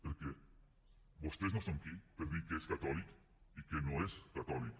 perquè vostès no són qui per dir què és catòlic i què no és catòlic